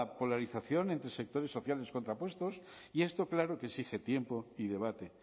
polarización entre sectores sociales contrapuestos y esto claro que exige tiempo y debate